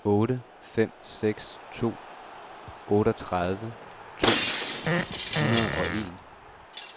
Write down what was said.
otte fem seks to otteogtredive to hundrede og en